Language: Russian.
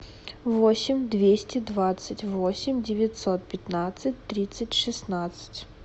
восемь двести двадцать восемь девятьсот пятнадцать тридцать шестнадцать